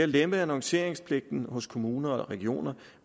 lemper annonceringspligten hos kommuner og regioner